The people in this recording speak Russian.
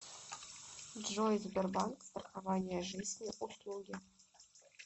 джой сбербанк страхование жизни услуги